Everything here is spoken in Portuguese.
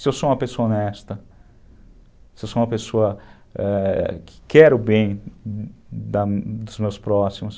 Se eu sou uma pessoa honesta, se eu sou uma pessoa, eh, que quer o bem dos meus próximos.